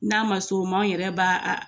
N'a ma s'o ma an yɛrɛ b'a